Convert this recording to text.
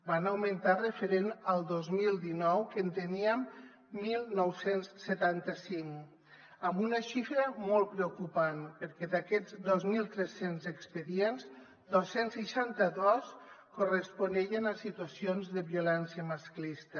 van augmentar referent al dos mil dinou que en teníem dinou setanta cinc amb una xifra molt preocupant perquè d’aquests dos mil tres cents expedients dos cents i seixanta dos corresponien a situacions de violència masclista